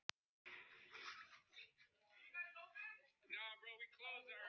Hvernig hann hafði haldið framhjá mér.